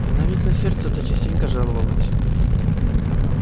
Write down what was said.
она ведь на сердце-то частенько жаловалась